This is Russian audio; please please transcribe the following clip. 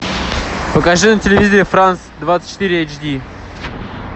покажи на телевизоре франс двадцать четыре эйч ди